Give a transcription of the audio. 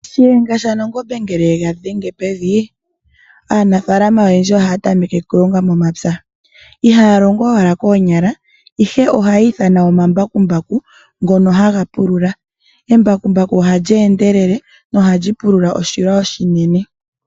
Shiyenga sha nangombe ngele yega dhenge pevi, aanafaalama oyendji ohaya tameke ihaya longo owala koonyala ihe ohaya ithana omambakumbaku ngono haga pulula. Embakumbaku ohali endelele noha li pulula oshilwa oshinene.